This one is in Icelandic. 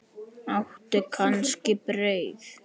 Áttu kannski brauð?